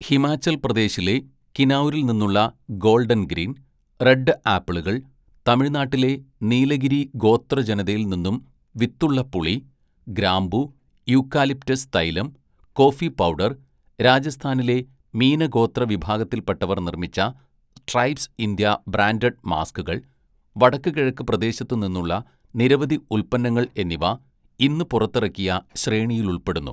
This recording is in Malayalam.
ഹിമാചൽപ്രദേശിലെ കിനൗരിൽ നിന്നുള്ള ഗോൾഡൻ ഗ്രീൻ, റെഡ് ആപ്പിളുകൾ തമിഴ്നാട്ടിലെ നീലഗിരി ഗോത്രജനതയിൽ നിന്നും വിത്തുള്ള പുളി, ഗ്രാമ്പൂ, യൂക്കാലിപ്റ്റസ് തൈലം, കോഫി പൗഡർ രാജസ്ഥാനിലെ മീന ഗോത്ര വിഭാഗത്തിൽപ്പെട്ടവർ നിർമ്മിച്ച ട്രൈബ്സ് ഇന്ത്യ ബ്രാൻഡഡ് മാസ്ക്കുകൾ, വടക്ക് കിഴക്ക് പ്രദേശത്തു നിന്നുള്ള നിരവധി ഉൽപന്നങ്ങൾ എന്നിവ ഇന്ന് പുറത്തിറക്കിയ ശ്രേണിയിലുൾപ്പെടുന്നു.